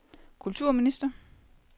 kulturminister